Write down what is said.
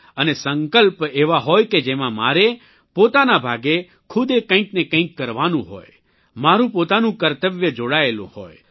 અને સંકલ્પ એવો હોય કે જેમાં મારે પોતાના ભાગે ખુદે કંઇકને કંઇક કરવાનું હોય મારૂં પોતાનું કર્તવ્ય જોડાયેલું હોય